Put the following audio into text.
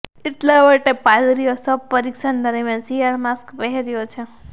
એટલા માટે પાદરીઓ શબપરીરક્ષણ દરમિયાન શિયાળ માસ્ક પહેર્યો છે